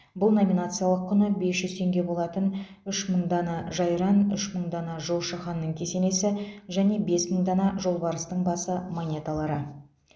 бұл номинациялық құны бес жүз теңге болатын үш мың дана жайран үш мың дана жошы ханның кесенесі және бес мың дана жолбарыстың басы монеталары